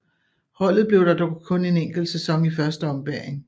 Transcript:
Holdet blev der dog kun en enkelt sæson i første ombæring